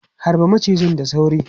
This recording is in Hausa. Harbe macijin da sauri!